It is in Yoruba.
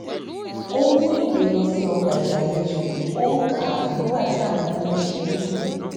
ó mú ìwé lọ sí ọgbà ìgbàlejò ó ń kà á nígbà tí àwọn ọmọ ń ṣeré